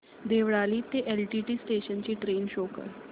देवळाली ते LTT station ची train show कर